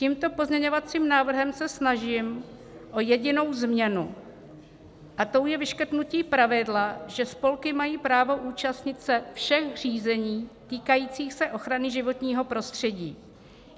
Tímto pozměňovacím návrhem se snažím o jedinou změnu, a tou je vyškrtnutí pravidla, že spolky mají právo účastnit se všech řízení týkajících se ochrany životního prostředí.